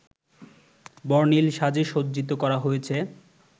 বর্ণিল সাজে সজ্জিত করা হয়েছে